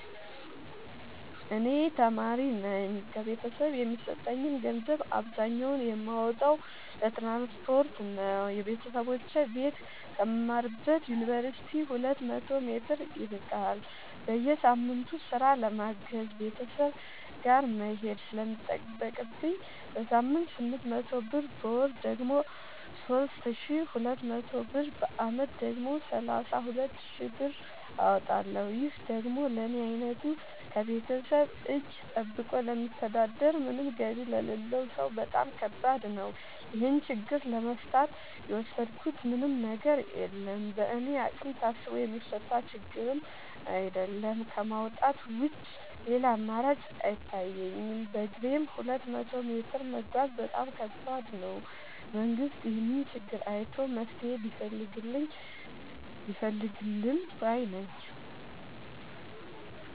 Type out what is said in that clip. እኔ ተማሪነኝ ከቤተሰብ የሚሰጠኝን ገንዘብ አብዛኛውን የማወጣው ለትራንስፖርት ነው የበተሰቦቼ ቤት ከምማርበት ዮንቨርሲቲ ሁለት መቶ ሜትር ይርቃል። በየሳምቱ ስራ ለማገዝ ቤተሰብ ጋር መሄድ ስለሚጠቅብኝ በሳምንት ስምንት መቶ ብር በወር ደግሞ ሶስት ሺ ሁለት መቶ ብር በአመት ደግሞ ሰላሳ ሁለት ሺ ብር አወጣለሁ ይህ ደግሞ ለኔ አይነቱ ከቤተሰብ እጂ ጠብቆ ለሚተዳደር ምንም ገቢ ለሌለው ሰው በጣም ከባድ ነው። ይህን ችግር ለመፍታት የወሰድኩት ምንም ነገር የለም በእኔ አቅም ታስቦ የሚፈታ ችግርም አይደለም ከማውጣት ውጪ ሌላ አማራጭ አይታየኝም በግሬም ሁለት መቶ ሜትር መጓዝ በጣም ከባድ ነው። መንግስት ይህንን ችግር አይቶ መፍትሔ ቢፈልግልን ባይነኝ።